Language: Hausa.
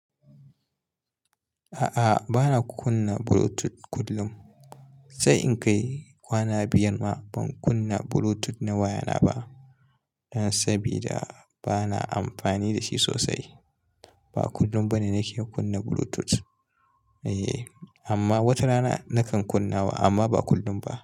A'a, bana kunna Bluetooth kullum. Sai in kai kwana biyar ma ban kunna Bluetooth na wayana ba. Don sabida bana amfani da shi sosai. Ba kullum bane nake kunna Bluetooth. Eh, amma wata rana nakan kunna wa amma ba kullum ba.